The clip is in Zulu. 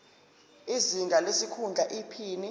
izinga lesikhundla iphini